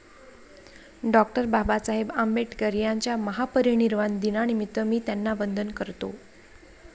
डॉ. बाबासाहेब आंबेडकर यांच्या महापरिनिर्वाण दिनानिमित्त मी त्यांना वंदन करतो.